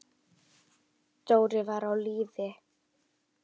Dóri var á lífi.